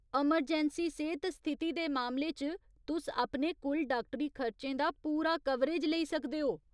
Emergency सेह्त स्थिति दे मामले च, तुस अपने कुल डाक्टरक्टरी खर्चें दा पूरा कवरेज लेई सकदे ओ।